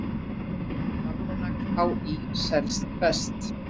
Almanak HÍ selst best